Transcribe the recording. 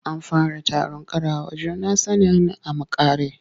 An fara taron ƙarawa juna sanin a makare.